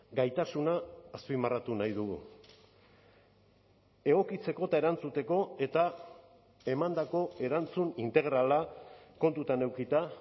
gaitasuna azpimarratu nahi dugu egokitzeko eta erantzuteko eta emandako erantzun integrala kontutan edukita